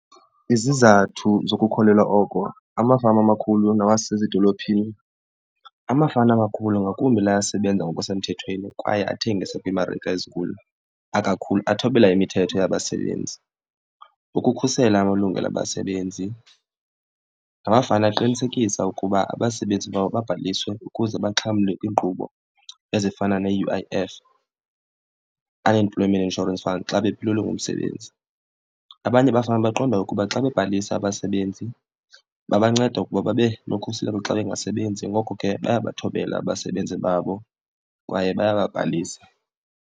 Izizathu zokukholelwa oko amafama amakhulu nawasezidolophini, amafama amakhulu ngakumbi la asebenza ngokusemthethweni kwaye athengisa kwiimarike ezinkulu athobela imithetho yabasebenzi. Ukukhusela amalungelo abasebenzi, la mafama aqinisekisa ukuba abasebenzi babo babhaliswe ukuze baxhamle kwiinkqubo ezifana ne-U_I_F, Unemployment Insurance Fund, xa bephelelwe ngumsebenzi. Abanye abafama baqonda ukuba xa bebhalisa abasebenzi babanceda ukuba babe nokhuseleko xa bengasebenzi, ngoko ke bayabathobela abasebenzi babo kwaye bayababhalisa.